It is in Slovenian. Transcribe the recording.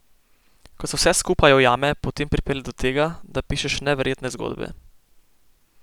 Ko se vse skupaj ujame, potem pripelje do tega, da pišeš neverjetne zgodbe.